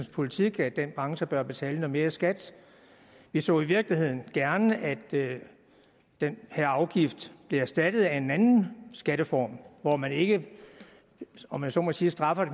politik at den branche bør betale noget mere i skat vi så i virkeligheden gerne at den her afgift blev erstattet af en anden skatteform hvor man ikke om jeg så må sige straffer